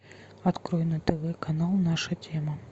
открой на тв канал наша тема